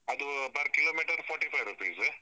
ಅದು per kilometer forty five rupees .